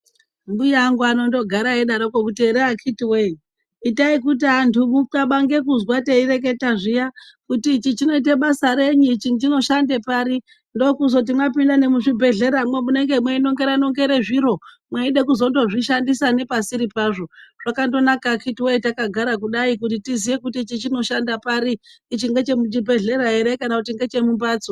Mbuya angu anondogara eyidaroko akhiti woye. Itai kuti antu muqabanga